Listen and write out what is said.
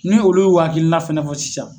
Ni olu ye u hakilina fana fɔ sisan.